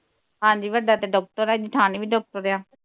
ਹਾਂਜੀ ਵੱਡਾ ਤੇ doctor ਆ ਜਠਾਣੀ ਵੀ doctor ਆ